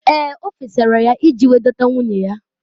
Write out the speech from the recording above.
Ee! O fesara ya iji wee dọta nwunye ya.